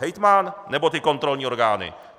Hejtman nebo ty kontrolní orgány.